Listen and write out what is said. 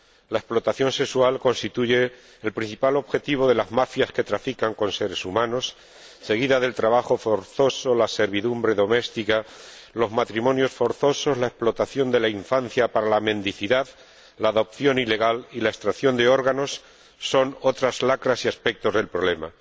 La explotación sexual constituye el principal objetivo de las mafias que trafican con seres humanos, seguida del trabajo forzoso, la servidumbre doméstica, los matrimonios forzosos, la explotación de la infancia para la mendicidad, la adopción ilegal y la extracción de órganos, que son otras lacras y aspectos del problema.